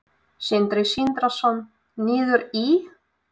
Sindri Sindrason: Niður í?